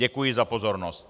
Děkuji za pozornost.